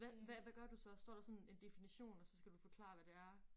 Hvad hvad hvad gør du så står der så en en definition og så skal du forklare hvad det er